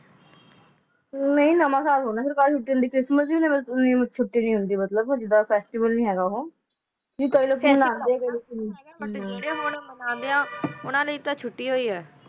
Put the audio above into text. ਨਹੀ ਨਾਮਕ ਹ ਹੋਣਾ ਸੀ ਮਤਲਬ ਜੀਂਦੀ ਆ ਮਤਲਬ ਓਨ੍ਦੀ ਕੋਈ ਫੇਸ੍ਟਿਵਲ ਆ ਮਤਲਬ ਕੋਈ ਅੰਦਾ ਨਹੀ ਓਨਾ ਨੂ ਮਨਾਂਦਾ ਆ ਓਨਾ ਲੀ ਤਾ ਚੋਟੀ ਹੋਈ ਆ